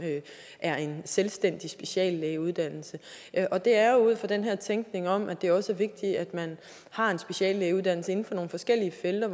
er en selvstændig speciallægeuddannelse og det er ud fra den her tænkning om at det også er vigtigt at man har en speciallægeuddannelse inden for nogle forskellige felter